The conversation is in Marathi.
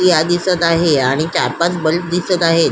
ए.सी हा दिसत आहे आणि चार पाच ब्लब दिसत आहे.